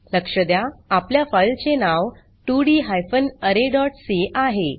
लक्ष द्या आपल्या फाइल चे नाव 2डी हायफेन अरे डॉट सी आहे